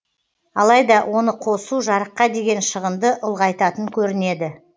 алайда оны қосу жарыққа деген шығынды ұлғайтатын көрінеді